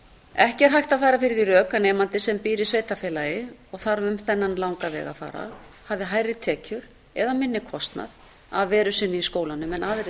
ekki er hægt að færa fyrir því rök að nemandi sem býr í sveitarfélagi og þarf um þennan langa veg að fara hafi hærri tekjur eða minni kostnað af veru sinni í skólanum en aðrir